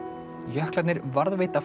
jöklarnir varðveita